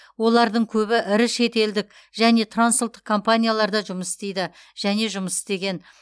олардың көбі ірі шетелдік және трансұлттық компанияларда жұмыс істейді және жұмыс істеген